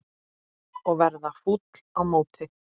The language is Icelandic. Og verða fúll á móti!